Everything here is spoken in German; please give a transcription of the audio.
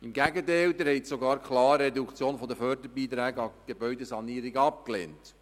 Im Gegenteil, Sie lehnten sogar die Reduktion der Förderbeiträge an die Gebäudesanierung klar ab.